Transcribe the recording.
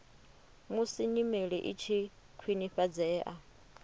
musi nyimele i tshi khwinifhadzea